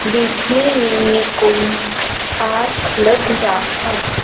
देखने में ये कोई पार्क लग रहा हैं।